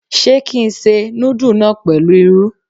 Ṣé kí n se núdù náà pẹ̀lú irú?